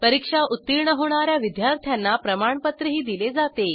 परीक्षा उत्तीर्ण होणा या विद्यार्थ्यांना प्रमाणपत्रही दिले जाते